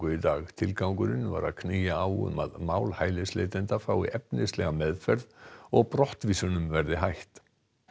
í dag tilgangurinn var að knýja á um að mál hælisleitenda fái efnislega meðferð og brottvísunum verði hætt